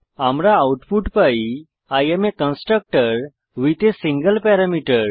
আমরা আউটপুট পাই I am constructor with a single parameter